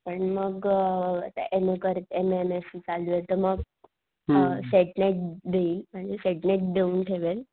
पण मग अ आता एन ओ करते M A M S C चालूये तर मग, आ, सेट नेट देईल म्हणजे सेट नेट देऊन ठेवेल